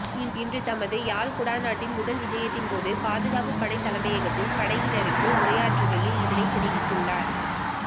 இன்று தமது யாழ் குடாநாட்டின் முதல் விஜயத்தின் போது பாதுகாப்பு படை தலைமையகத்தில் படையினருக்கு உரையாற்றுகையில் இதனை தெரிவித்துள்ளார்